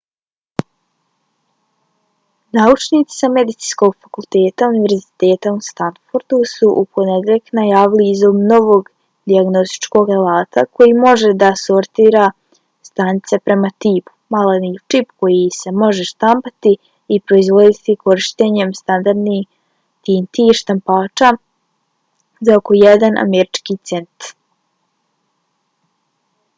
naučnici sa medicinskog fakulteta univerziteta u stanfordu su u ponedjeljak najavili izum novog dijagnostičkog alata koji može da sortira stanice prema tipu: maleni čip koji se može štampati i proizvoditi korištenjem standardnih tintnih štampača za oko jedan američki cent